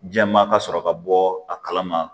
Jɛma ka sɔrɔ ka bɔ a kalama